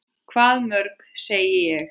Hvað mörg, segi ég.